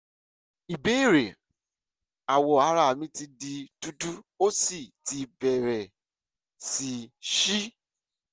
ìbéèrè: awọ ara mi ti di dúdú ó sì ti bẹ̀rẹ̀ sí ṣí